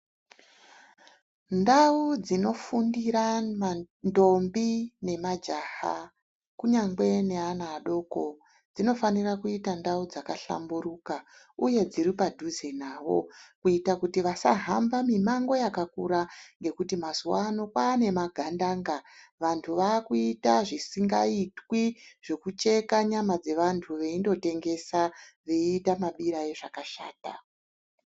Ndau dzinofundira ndombi nemajaha kunyangwe neana adoko dzinofanira kuita ndau dzakahlamburuka uye dziri padhuze navo kuita kuti vasahama mimango yakakura ngekuti mazuwano kwaane magandanga, vanthu vaakuita zvisingaitwi zvekucheka nyama dzevanthu veindotengesa veiita mabira ezvakashata.